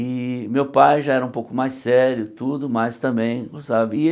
E meu pai já era um pouco mais sério, tudo, mas também, sabe? E ele